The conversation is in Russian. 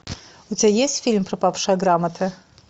у тебя есть фильм пропавшая грамота